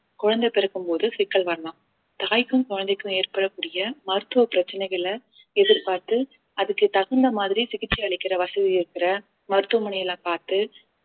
குழந்தை பிறக்கும்போது சிக்கல் வரலாம் தாய்க்கும் குழந்தைக்கும் ஏற்படக்கூடிய மருத்துவ பிரச்சனைகளை எதிர்பார்த்து அதுக்கு தகுந்த மாதிரி சிகிச்சை அளிக்கிற வசதி இருக்கிற மருத்துவமனையில பார்த்து